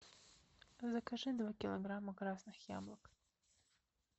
закажи два килограмма красных яблок